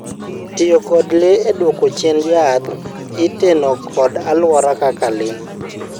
tiyo kod le e duoko chien jaath iteno kod aluora kaka le